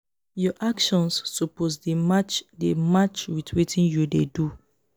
your actions suppose dey match dey match wit wetin you dey do.